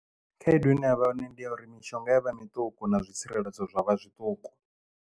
Khaedu ine yavha hone ndi ya uri mishonga ya vha miṱuku na zwi tsireledzo zwavha zwiṱuku.